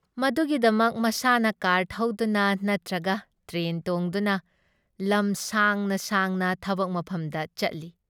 ꯃꯗꯨꯒꯤꯗꯃꯛ ꯃꯁꯥꯅ ꯀꯥꯔ ꯊꯧꯗꯨꯅ ꯅꯠꯇ꯭ꯔꯒ ꯇ꯭ꯔꯦꯟ ꯇꯣꯡꯗꯨꯅ ꯂꯝ ꯁꯥꯡꯅ ꯁꯥꯡꯅ ꯊꯕꯛ ꯃꯐꯝꯗ ꯆꯠꯂꯤ ꯫